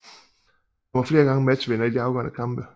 Han var flere gange matchvinder i de afgørende kampe